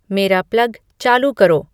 मेरा प्लग चालू करो